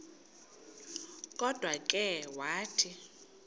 kodwa ke wathi